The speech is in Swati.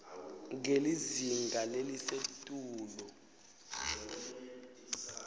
ngelizinga lelisetulu